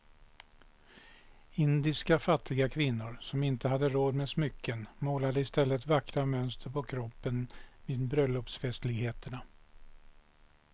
Indiska fattiga kvinnor som inte hade råd med smycken målade i stället vackra mönster på kroppen vid bröllopsfestligheter.